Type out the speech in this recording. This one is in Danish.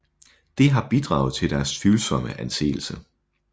Det har bidraget til deres tvivlsomme anseelse